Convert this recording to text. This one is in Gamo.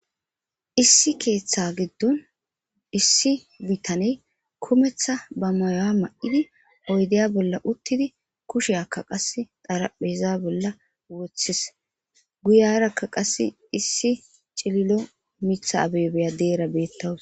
issi keeththa giddon issi bitaney kumeththa ba mayoya ma7idi oydeya bolla uttidi kushe akka qas darapheza bolla wothis guyarakka qasse issi cililo mitha abebeya deera beettawus